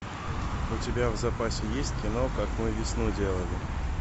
у тебя в запасе есть кино как мы весну делали